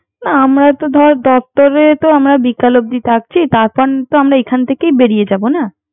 আমরা তো ধর দপ্তরে তো বিকাল অব্দি থাকছি। তারপর তো এখান থেকেই বেরিয়ে যাবো না